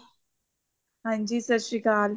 ਹਾਂਜੀ ਸਤਿ ਸ਼੍ਰੀ ਅਕਾਲ